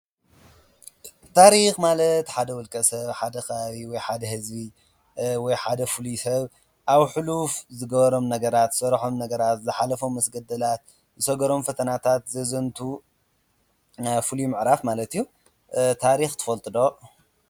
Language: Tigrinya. ታሪክ ማለት ሓደ ውልቀሰብ ሓደ ከባቢ ወይ ሓደ ህዝቢ ወይ ሓደ ፍሉይ ሰብ ኣብ ሕሉፍ ዝገበሮም ነገራት ወይ ዝሰርሖም ነገናት ወይ መስገንደላት ዝሰገሮም ፈተናታት ዘዘንቱ ፍሉይ ምዕራፍ ማለት እዩ፡፡ ታሪክ ትፈልጡ ዶ?